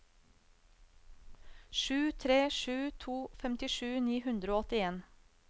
sju tre sju to femtisju ni hundre og åttien